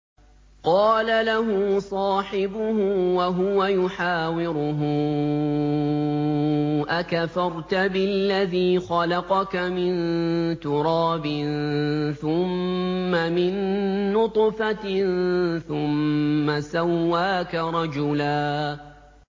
قَالَ لَهُ صَاحِبُهُ وَهُوَ يُحَاوِرُهُ أَكَفَرْتَ بِالَّذِي خَلَقَكَ مِن تُرَابٍ ثُمَّ مِن نُّطْفَةٍ ثُمَّ سَوَّاكَ رَجُلًا